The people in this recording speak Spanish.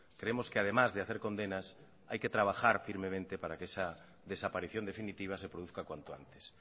creemos que además de hacer condenas hay que trabajar firmemente para que esa desaparición definitiva se produzca cuanto antes